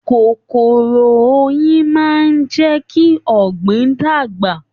Kòkòrò oyin máa n jẹ kí ọgbin dàgbà.